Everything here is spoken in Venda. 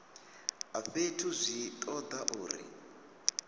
a fhethu zwi toda uri